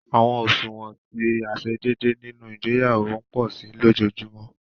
Awọn oṣuwọn ti aiṣedeede nínú ìgbéyàwó npo si lojojumọ